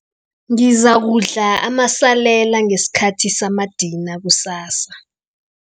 Ngizakudla amasalela ngesikhathi samadina kusasa.